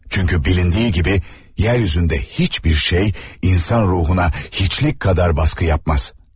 Çünkü bilindiği gibi yeryüzünde hiçbir şey insan ruhuna hiçlik kadar baskı yapmaz.